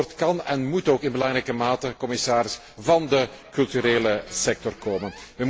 Dat antwoord kan en moet ook in belangrijke mate, commissaris, van de culturele sector komen.